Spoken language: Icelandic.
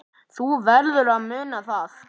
Þú verður að muna það.